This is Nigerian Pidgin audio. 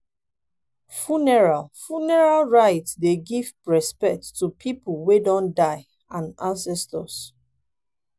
funeral funeral rites dey give respect to pipo wey don die and ancestors